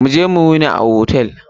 Mu je mu yini a hotel.